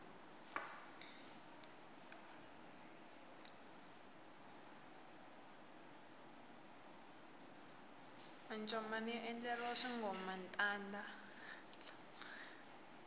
mancomani ya endleriwa swingomantanda